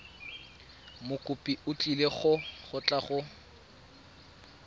mokopi o tlile go tla